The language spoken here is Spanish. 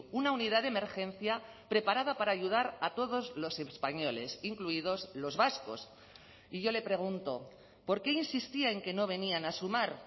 una unidad de emergencia preparada para ayudar a todos los españoles incluidos los vascos y yo le pregunto por qué insistía en que no venían a sumar